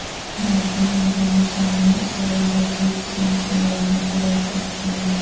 بھارتی high commission نے سربجیت سنگھ سے ملاقات کی درخواست کی ہے